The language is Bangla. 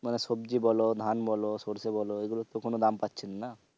মানে সবজি বলো ধান বলো সরষে বলো এগুলোর তো কোনো দাম পাচ্ছিনা না।